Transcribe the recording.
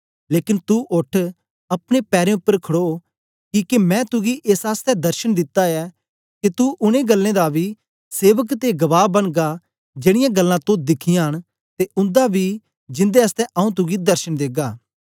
लेकन तू ओठ अपने पैरें उपर खड़ो किके मैं तुगी एस आसतै दर्शन दिता ऐ के तुगी उनै गल्लें दा बी सेवक ते गवाह बनगा जेड़ीयां गल्लां तो दिखियां न ते उन्दा बी जिन्दे आसतै आंऊँ तुगी दर्शन देगा